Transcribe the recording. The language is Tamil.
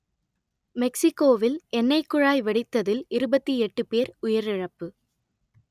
மெக்சிக்கோவில் எண்ணெய்க் குழாய் வெடித்ததில் இருபத்தி எட்டு பேர் உயிரிழப்பு